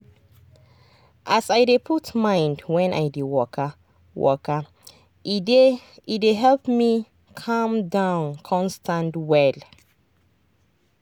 as i dey put mind when i dey waka waka e dey help me calm down con stand well.